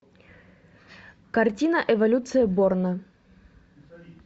картина эволюция борна